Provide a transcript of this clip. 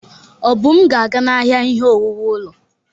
Obum ga-aga n'ahịa ihe owuwu ụlọ.